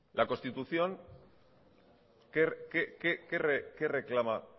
la constitución qué reclama